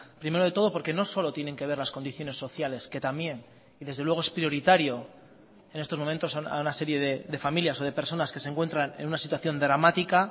primero de todo porque no solo tienen que ver las condiciones sociales que también y desde luego es prioritario en estos momentos a una serie de familias o de personas que se encuentran en una situación dramática